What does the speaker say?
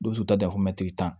Dɔw bɛ se k'u ta dafo tan